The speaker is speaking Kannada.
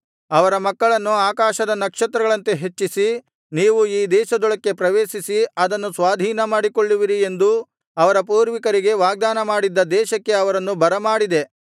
ಅವರ ಮಕ್ಕಳನ್ನು ಆಕಾಶದ ನಕ್ಷತ್ರಗಳಂತೆ ಹೆಚ್ಚಿಸಿ ನೀವು ಈ ದೇಶದೊಳಕ್ಕೆ‍ ಪ್ರವೇಶಿಸಿ ಅದನ್ನು ಸ್ವಾಧೀನಮಾಡಿಕೊಳ್ಳುವಿರಿ ಎಂದು ಅವರ ಪೂರ್ವಿಕರಿಗೆ ವಾಗ್ದಾನಮಾಡಿದ್ದ ದೇಶಕ್ಕೆ ಅವರನ್ನು ಬರಮಾಡಿದೆ